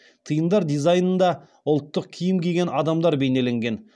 тиындар дизайнында ұлттық киім киген адамдар бейнеленген